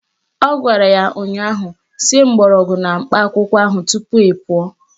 Ọ gwara ya ụnyaahụ "Sie mgbọrọgwụ na mkpa akwụkwọ ahụ tupu ị pụọ"